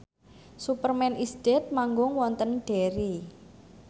Superman is Dead manggung wonten Derry